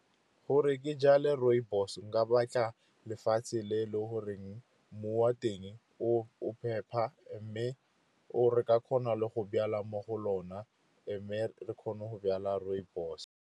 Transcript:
Gore ke jale rooibos, nka batla lefatshe le e le goreng mmu wa teng o phepa, mme re ka kgona le go jala mo go lona, and then re kgone go jala rooibos.